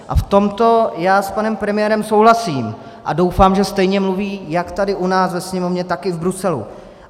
A v tomto já s panem premiérem souhlasím a doufám, že stejně mluví jak tady u nás ve Sněmovně, tak i v Bruselu.